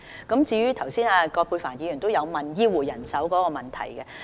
葛珮帆議員剛才也問及醫護人手的問題。